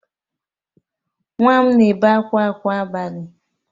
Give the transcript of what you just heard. Nwa m na-ebe akwa kwa abalị